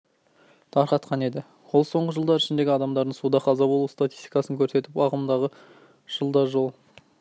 тарқатқан еді ол соңғы жылдар ішіндегі адамдардың суда қаза болу статистикасын көрсетіп ағымдағы жылда жол